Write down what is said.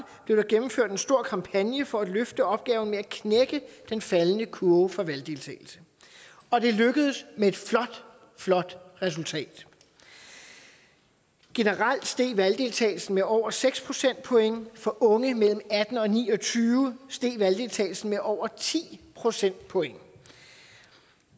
blev der gennemført en stor kampagne for at løfte opgaven med at knække den faldende kurve for valgdeltagelse og det lykkedes med et flot flot resultat generelt steg valgdeltagelsen med over seks procentpoint for unge mellem atten og ni og tyve år steg valgdeltagelsen med over ti procentpoint